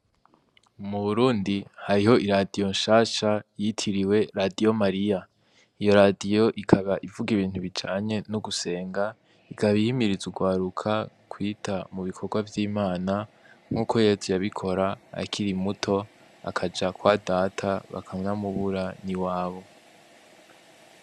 Muburundi hariho iradiyo nshasha yitiriwe radiyo mariya iyo radiyo ikaba ivuga ibintu bijanye no gusenga ikaba ihimirize urwaruka mukwita mubikorwa vyimana nkuko yezu yabikora akiri muto akaja kwa data bakanamubura niwabo.